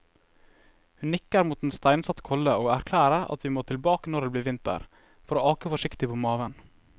Hun nikker mot en steinsatt kolle og erklærer at vi må tilbake når det blir vinter, for å ake forsiktig på maven.